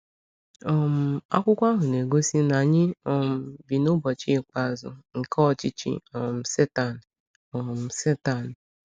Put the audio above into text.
um Akwụkwọ ahụ na-egosi na anyị um bi n’“ụbọchị ikpeazụ” nke ọchịchị um Satani. um Satani.